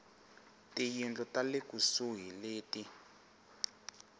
tiyindlu ta le kusuhi leti